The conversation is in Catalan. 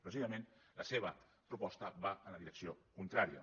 precisament la seva proposta va en la direcció contrària